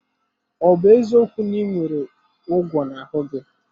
Ọ bụ eziokwu na ị nwere ugwu n'ahụ gị?